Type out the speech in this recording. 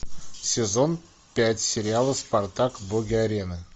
сезон пять сериала спартак боги арены